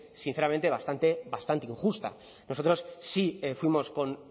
sinceramente bastante injusta nosotros sí fuimos con